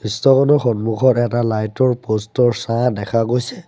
দৃশ্যখনৰ সন্মুখত এটা লাইটৰ প'ষ্ট ৰ ছাঁ দেখা গৈছে।